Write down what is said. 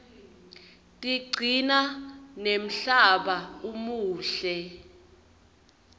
tigcina nemhlaba umuhle